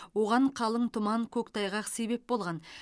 оған қалың тұман көктайғақ себеп болған